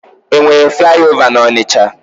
E nwere flaị ova n'Ọnịcha?